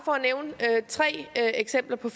nævne tre eksempler på